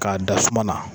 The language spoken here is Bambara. K'a da suma na